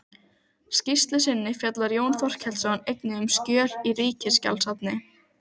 Hittirðu Jakob Dalmann? spurði Thomas stuttur í spuna.